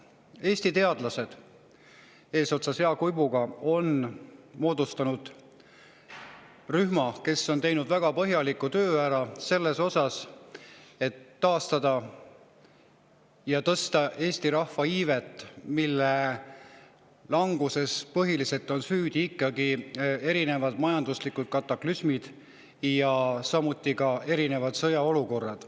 Eesti teadlased eesotsas Jaak Uibuga on moodustanud rühma, kes on teinud ära väga põhjaliku töö selles osas, taastada ja tõsta Eesti rahva iivet, mille languses on põhiliselt süüdi erinevad majanduslikud kataklüsmid ja ka erinevad sõjaolukorrad.